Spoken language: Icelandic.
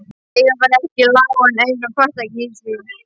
Leigan var ekki lág en Eyrún kvartaði ekki því